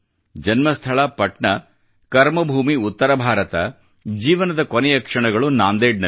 ಜನ್ಮಸ್ಥಳ ಪಟ್ನಾ ಕರ್ಮ ಭೂಮಿ ಉತ್ತರ ಭಾರತ ಮತ್ತು ಜೀವನದ ಕೊನೆಯ ಕ್ಷಣಗಳು ನಾಂದೇಡ್ ನಲ್ಲಿ